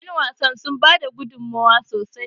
yanwasan sun bada gudummawa sosai